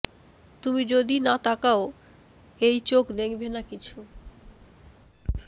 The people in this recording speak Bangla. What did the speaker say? তুমি যদি না তাকাও এই চোখ দেখবে না কিছু